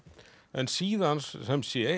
en síðan sem sé